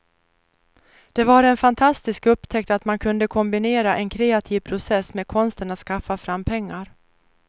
Det var en fantastiskt upptäckt att man kunde kombinera en kreativ process med konsten att skaffa fram pengar.